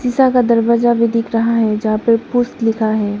शा का दरवाजा भी दिख रहा है जहां पे पुश लिखा है।